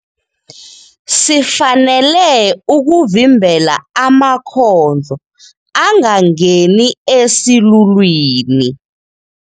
Sifanele ukuvimbela amakhondlo angangeni esilulwini.